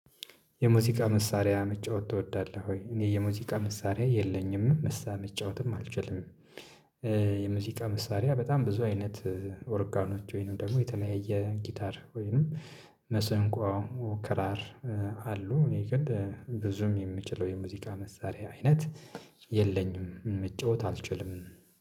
የሙዚቃ መሳሪያ መጫወት ትወዳለህ ወይ? እኔ የሙዚቃ መሳሪያ የለኝም መሳ መጫወትም አልችልም። የሙዚቃ መሳሪያ በጣም ብዙ አይነት ኦርጋኖች ወይንም ደግሞ የተለያየ ጊታር ወይንም መሰንቆ ክራር አሉ። እኔ ግን ብዙም የምችለው የሙዚቃ መሳሪያ አይነት የለኝም መጫወት አልችልም